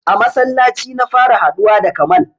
A masallaci na fara haɗuwa da Kamal.